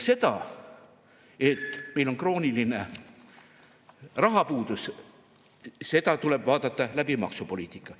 Seda, et meil on krooniline rahapuudus, tuleb vaadata läbi maksupoliitika.